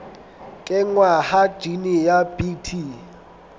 kenngwa ha jine ya bt